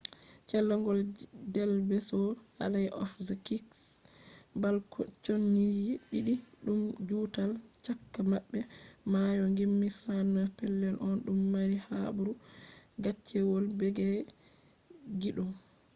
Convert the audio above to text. callejon del beso alley of the kiss. balconiji diddi dum juutal caka mabbe maayo gimdi 69 pellel on dum mari habaru gaccewol beege kiddum